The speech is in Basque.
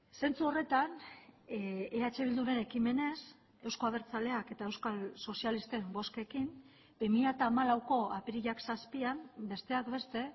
zentzu horretan eh bilduren ekimenez euzko abertzaleak eta euskal sozialisten bozkekin bi mila hamalauko apirilak zazpian besteak beste